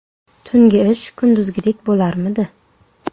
Tungi ish kunduzgidek bo‘larmidi?